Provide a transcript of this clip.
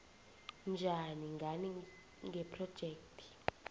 njani ngani ngephrojekhthi